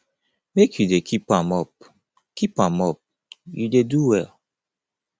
make you dey keep am up keep am up you dey do well